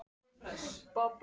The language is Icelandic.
Líst þér ekki vel á það?